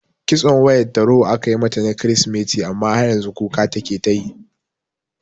Kitson wayar tarho aka mata na kiristimeti amma har yanzu kuka take tayi